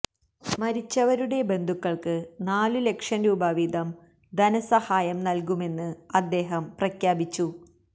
മരിച്ചവരുടെ ബന്ധുക്കള്ക്ക് നാലു ലക്ഷം രൂപ വീതം ധനസഹായം നല്കുമെന്ന് അദ്ദേഹം പ്രഖ്യാപിച്ചു